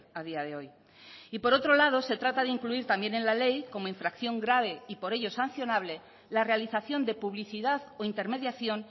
a día de hoy y por otro lado se trata de incluir también en la ley como infracción grave y por ello sancionable la realización de publicidad o intermediación